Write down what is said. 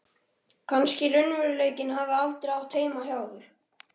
Kannski raunveruleikinn hafi aldrei átt heima hjá okkur.